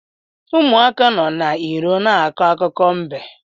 Ụmụaka nọ n’iro na-akọ akụkọ mbe